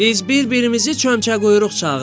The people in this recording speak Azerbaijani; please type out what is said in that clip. Biz bir-birimizi çömçəquyruq çağırırıq.